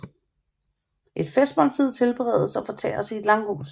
Et festmåltid tilberedes og fortæres i et langhus